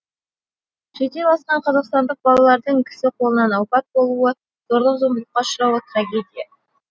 шетел асқан қазақстандық балалардың кісі қолынан опат болуы зорлық зомбылыққа ұшырауы трагедия